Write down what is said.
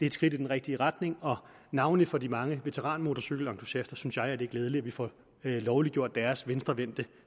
et skridt i den rigtige retning og navnlig for de mange veteranmotorcykelentusiaster synes jeg det er glædeligt at vi får lovliggjort deres venstrevendte